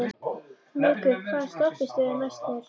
Muggur, hvaða stoppistöð er næst mér?